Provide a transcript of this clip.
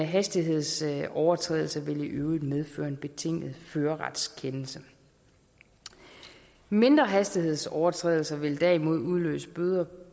hastighedsovertrædelse vil i øvrigt medføre en betinget førerretsfrakendelse mindre hastighedsovertrædelser vil derimod udløse bøder